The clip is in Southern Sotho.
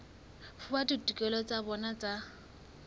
fuwa ditokelo tsa bona tsa